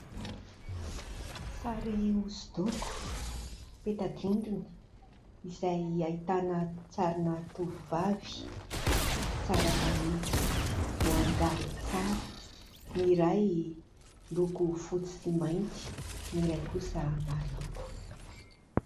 Sary hoso-doko, peta-drindrina izay ahitana sarina tovovavy tsara tarehy, voangaly tsara. Ny iray miloko fotsy sy mainty, ny iray kosa maro loko.